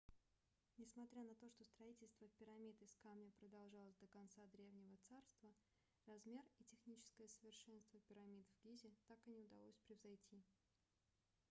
несмотря на то что строительство пирамид из камня продолжалось до конца древнего царства размер и техническое совершенство пирамид в гизе так и не удалось превзойти